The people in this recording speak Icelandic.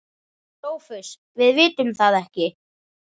SOPHUS: Við vitum það ekki.